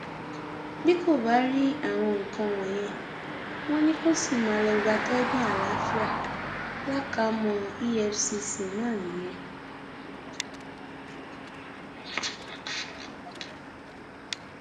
bí kò bá rí àwọn nǹkan wọnyí wọn ni kò sì máa lọọ gbatẹgùn àlàáfíà káàámọ efcc ná nìyẹn